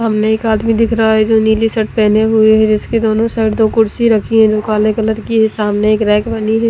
सामने एक आदमी दिख रहा है जो नीली शर्ट पहने हुई है इसके दोनों साइड दो कुर्सी रखी है जो काले कलर की है सामने एक रेक बनी है।